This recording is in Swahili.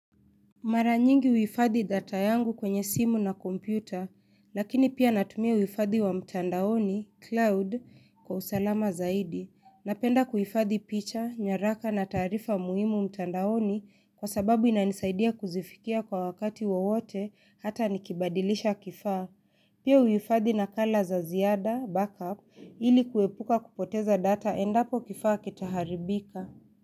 Mara nyingi huhifadhi data yangu kwenye simu na kompyuta, lakini pia natumia uhifadhi wa mtandaoni, cloud, kwa usalama zaidi. Napenda kuhifadhi picha, nyaraka na taarifa muhimu mtandaoni kwa sababu inanisaidia kuzifikia kwa wakati wowote hata niki badilisha kifaa. Pia huhifadhi nakala za ziada, backup, ili kuepuka kupoteza data endapo kifaa kitaharibika.